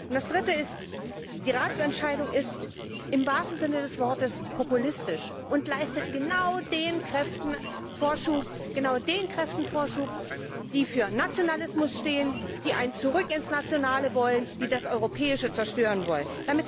Das Dritte ist Die Ratsentscheidung ist im wahrsten Sinne des Wortes populistisch und leistet genau den Kräften Vorschub, die für Nationalismus stehen, die ein Zurück ins Nationale wollen, die das Europäische zerstören wollen.